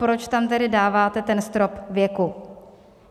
Proč tam tedy dáváte ten strop věku?